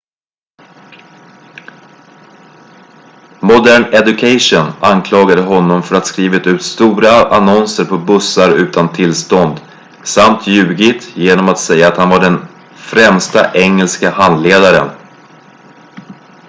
modern education anklagade honom för att ha skrivit ut stora annonser på bussar utan tillstånd samt ljugit genom att säga att han var den främsta engelska handledaren